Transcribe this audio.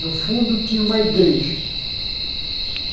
No fundo, tinha uma igreja.